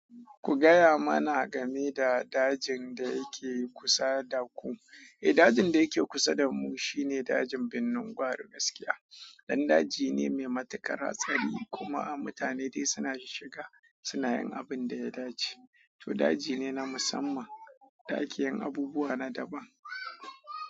Kugaya mana game da dajin dayake kusa daku. Eh, dajin da yake kusa da mu shine dajin binni gwari gaskiya. Dan daji ne mai matuƙar hatsari kuma mutane dai suna shiga suna yin abin da ya dace. To, daji ne na musamman, da akeyin abubuwa na daban.